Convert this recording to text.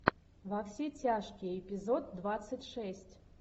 во все тяжкие эпизод двадцать шесть